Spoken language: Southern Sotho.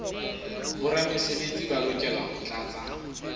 boramesebetsi ba lokela ho tlatsa